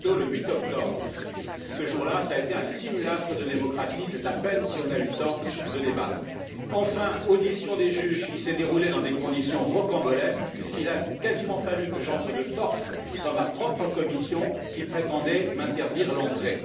Pinto, le 8 octobre ce jour là a été un simulacre de démocratie, c'est à peine si nous avons eu le temps de débattre. Enfin, audition des juges qui s'est déroulée dans des conditions rocambolesques, puisqu'il a quasiment fallu que j'entre de force dans ma propre commission, qui prétendait m'interdire l'entrée.